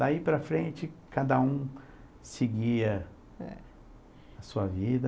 Daí para frente, cada um seguia a sua vida.